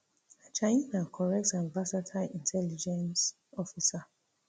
ajayi na correct and versatile intelligence officer